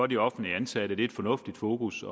de offentligt ansatte det er et fornuftigt fokus